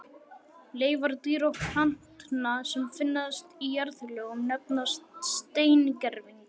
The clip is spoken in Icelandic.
Leifar dýra og plantna, sem finnast í jarðlögum, nefnast steingervingar.